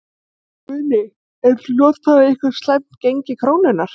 Guðný: Eruð þið að notfæra ykkur slæmt gengi krónunnar?